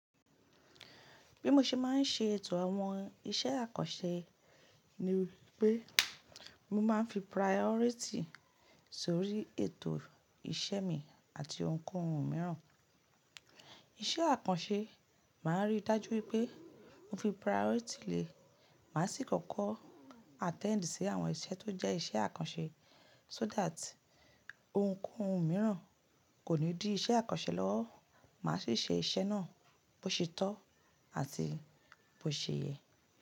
Bí mo ṣe máa ń ṣe ètò àwọn iṣẹ́ àkànṣe ni wípé mo máa ń fi priority sórí ètò iṣẹ́ mi àti ohunkóhun mìíràn. Iṣẹ́ àkànṣe máa rí dájú wípé mo fi priority lẹ, màá sì kọ́kọ́ attend sí àwọn iṣẹ́ tó jẹ́ iṣẹ́ àkànṣe so that ohunkóhun mìíràn kò ní dí iṣẹ́ àkànṣe lọ́wọ́. Màá sì ṣe iṣẹ́ náà bó ṣe tọ́ àti bó ṣe yẹ.